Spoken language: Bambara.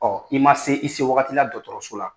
Ɔ i ma se i se wagati la dɔgɔtɔrɔso la